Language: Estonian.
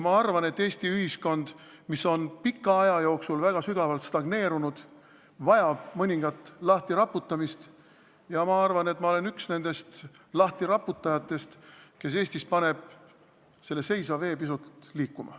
Ma arvan, et Eesti ühiskond, mis on pika aja jooksul väga sügavalt stagneerunud, vajab mõningast lahtiraputamist, ja ma arvan, et ma olen üks nendest lahtiraputajatest, kes paneb Eestis selle seisva vee pisut liikuma.